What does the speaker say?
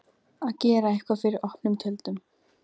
Að gera eitthvað fyrir opnum tjöldum